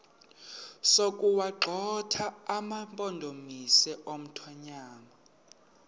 sokuwagxotha amampondomise omthonvama